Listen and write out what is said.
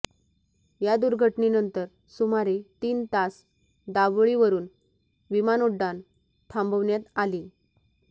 या दुर्घटनेनंतर सुमारे तीन तास दाबोळीवरून विमानोड्डाण थांबवण्यात आले